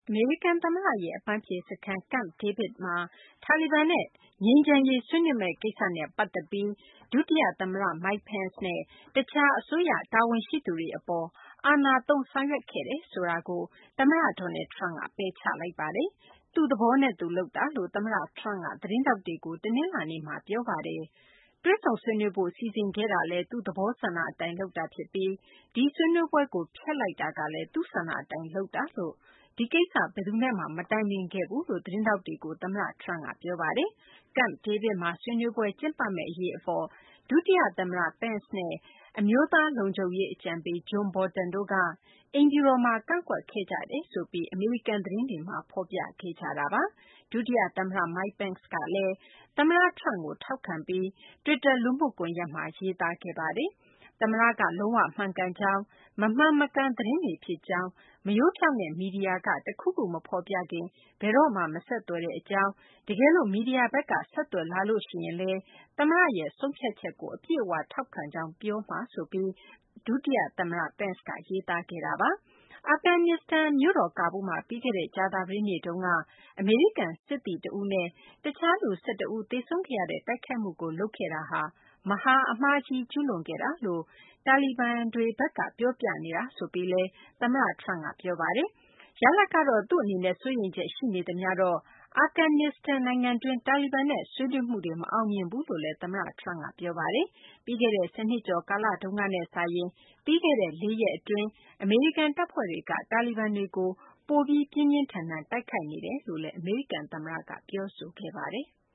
အမေရိကန် သမ္မတရဲ့ အပန်းဖြေ စခန်း Camp David မှာ တာလီဘန်နဲ့ ငြိမ်းချမ်းရေး ဆွေးနွေးမယ့် ကိစ္စနဲ့ ပတ်သက်ပြီး ဒုတိယ သမ္မတ Mike Pence နဲ့ တခြား အစိုးရ တာဝန်ရှိသူတွေ အပေါ် အာဏာသုံး ဆောင်ရွက်ခဲ့တယ်ဆိုတဲ့ အပေါ် သမ္မတ Donald Trump က ပယ်ချလိုက်ပါတယ်။ သူ့သဘောနဲ့သူ လုပ်တာလို့ သမ္မတ Trump က သတင်းထောက်တွေကို တနလာၤနေ့မှာ ပြောဆိုပါတယ်။ တွေ့ဆုံဆွေးနွေးဖို့ စီစဉ်ခဲ့တာကလည်း သူ့ သဘောဆန္ဒ အတိုင်းလုပ်တာ ဖြစ်ပြီး ဒီဆွေးနွေးပွဲကို ဖျက်လိုက်တာကလည်း သူ့ဆန္ဒအတိုင်း လုပ်ခဲ့တာ ဖြစ်ပြီး ဒီကိစ္စ ဘယ်သူနဲ့မှ မတိုင်ပင်ခဲ့ဘူးလို့ သတင်းထောက်တွေကို သမ္မတ Trump က ပြောဆိုခဲ့တာပါ။ Camp David မှာ ဆွေးနွေးပွဲ ကျင်းပမယ့် အရေး အပေါ် ဒုတိယ သမ္မတ Pence နဲ့ အမျိုးသား လုံခြုံရေး အကြံပေး John Bolton တို့က အိမ်ဖြူတော်မှာ ကန့်ကွက်ခဲ့ကြတယ် ဆိုပြီး အမေရိကန် သတင်းတွေက ဖော်ပြခဲ့ကြတာပါ။ ဒုတိယ သမ္မတ Mike Pence ကလည်း သမ္မတ Trump ကို ထောက်ခံပြီး တွစ်တာ လူမှုကွန်ယက်မှာ ရေးသားခဲ့ပါတယ်။ သမ္မတ က လုံး၀ မှန်ကန်ကြောင်း၊ မမှန်မကန် သတင်းတွေဖြစ်ကြောင်း၊ မရိုးဖြောင့်တဲ့ မီဒီယာက တခုခု မဖော်ပြခင် ဘယ်တော့မှ မဆက်သွယ်ကြောင်း၊ တကယ်လို့ မီဒီယာဘက်က ဆက်သွယ်လာလို့ ရှိရင်လည်း သမ္မတရဲ့ ဆုံးဖြတ်ချက်ကို အပြည့်အ၀ ထောက်ခံကြောင်း ပြောကြားမှာ ဖြစ်ကြောင်း ဒုသမ္မတ Pence က ရေးသားခဲ့တာပါ။ အာဖဂန်နစ္စတန် မြို့တော် ကာဘူးလ်မှာ ပြီးခဲ့တဲ့ ကြာသပတေးနေ့တုန်းက အမေရိကန် စစ်သား တဦးနဲ့ တခြား လူ ၁၁ ဦး သေဆုံးခဲ့ရတဲ့ တိုက်ခိုက်မှုကို လုပ်ခဲ့ဟာ မဟာအမှားကြီး ကျူးလွန်ခဲ့တာလို့ တာလီဘန်တွေဘက်က ပြောပြနေတာဆိုပြီးလည်း သမ္မတ Trump က ပြောပါတယ်။ ရလဒ်ကတော့ သူ့အနေနဲ့ စိုးရိမ်ချက် ရှိနေသမျှတော့ အာဖဂန်နစ္စတန် နိုင်ငံတွင်း တာလီဘန်နဲ့ ဆွေးနွေးမှုတွေ မအောင်မြင်ဘူးလို့လည်း သမ္မတ Trump က ပြောဆိုခဲ့ပါတယ်။ ပြီးခဲ့တဲ့ ၁၀ နှစ်ကျော် ကာလတုန်းကနဲ့ စာရင်တော့ ပြီးခဲ့တဲ့ ၄ ရက် အတွင်း အမေရိကန် တပ်ဖွဲ့တွေက တာလီဘန်တွေကို ပိုပြီး ပြင်းပြင်းထန်ထန် တိုက်ခိုက်နေတယ်လို့လည်း အမေရိကန် သမ္မတက ပြောဆိုခဲ့ပါတယ်။